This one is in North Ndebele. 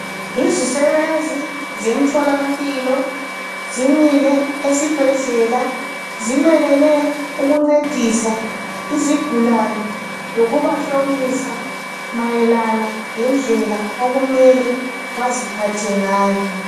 Izisebenzi zemtholampilo zimile esibhedlela zimelele ukuncedisa izigulane lokubahlomisa mayelana lendlela okumele baziphathe ngayo.